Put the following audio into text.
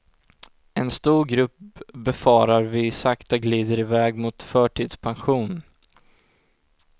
En stor grupp befarar vi sakta glider iväg mot förtidspension.